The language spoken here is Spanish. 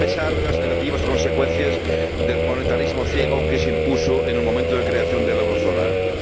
a pesar de las negativas consecuencias del monetarismo ciego, que se impuso en el momento de creación de la zona del euro.